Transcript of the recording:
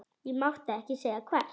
Ég mátti ekki segja hvert.